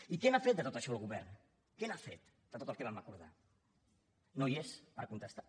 i què n’ha fet de tot això el govern què n’ha fet de tot el que vam acordar no hi és per contestar